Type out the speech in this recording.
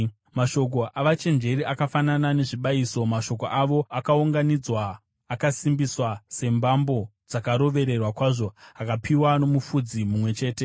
Mashoko avachenjeri akafanana nezvibayiso, mashoko avo akaunganidzwa akasimbiswa sembambo dzakarovererwa kwazvo, akapiwa noMufudzi mumwe chete.